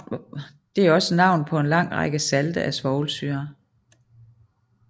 Det er også navnet på en lang række salte af svovlsyre